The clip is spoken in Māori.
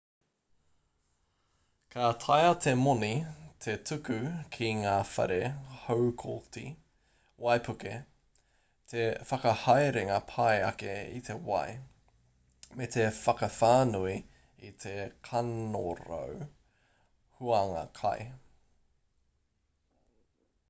ka taea te moni te tuku ki ngā whare haukoti waipuke te whakahaerenga pai ake i te wai me te whakawhānui i te kanorau huanga kai